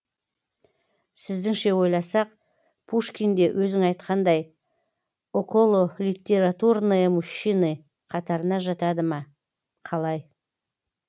сіздіңше ойласақ пушкин де өзің айтқандай окололитературные мужчины қатарына жатады ма қалай